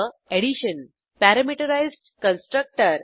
addition parameterised constructor